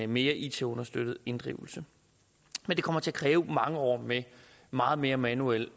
mere it understøttet inddrivelse men det kommer til at kræve mange år med meget mere manuel